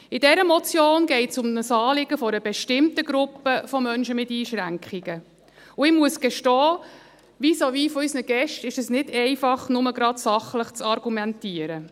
In dieser Motion geht es um ein Anliegen einer bestimmten Gruppe von Menschen mit Einschränkungen, und ich muss gestehen, vis-à-vis von unseren Gästen ist es nicht einfach, nur sachlich zu argumentieren.